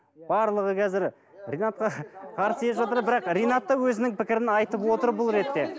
барлығы қазір ринатқа қарсы келіп жатыр бірақ ринат та өзінің пікірін айтып отыр бұл ретте